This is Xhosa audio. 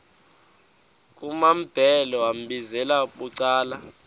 kumambhele wambizela bucala